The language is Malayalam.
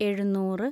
എഴുന്നൂറ്